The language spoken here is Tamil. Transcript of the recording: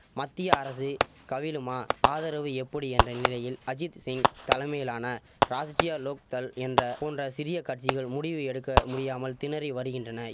மத்திய அரசு கவிழுமா ஆதரவு எப்படி என்ற நிலையில் அஜித் சிங் தலைமையிலான ராஷ்டிரியா லோக் தள் என்ற போன்ற சிறிய கட்சிகள் முடிவு எடுக்க முடியாமல் திணறி வரிகின்றனை